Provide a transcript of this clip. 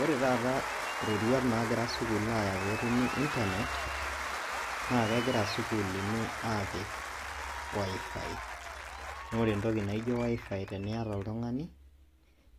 Ore taata iroruat naagira sukuul aaya peetumi intanet naakegira isukuluni aapik WiFi. Noore entoki naijo WiFi teniata oltung'ani